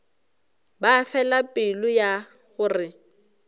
ba fela pelo ya gore